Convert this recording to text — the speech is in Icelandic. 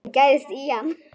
Hann gægist í hann.